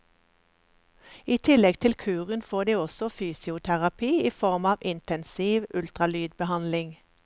I tillegg til kuren får de også fysioterapi i form av intensiv ultralydbehandling.